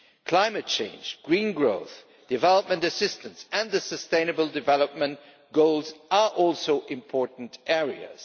Climate change, green growth, development assistance and the sustainable development goals are also important areas.